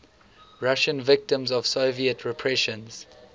russian victims of soviet repressions